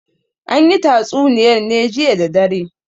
An yi tatsuniyar ne jiya da dare.